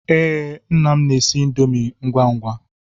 Ee, nna m na-esi índomi ngwa ngwa.